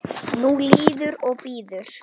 Nú líður og bíður.